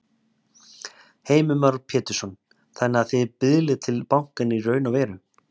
Heimir Már Pétursson: Þannig að þið biðlið til bankanna í raun og veru?